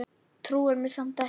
Trúir mér samt ekki.